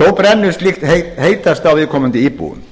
þó brennur slíkt heitast á viðkomandi íbúum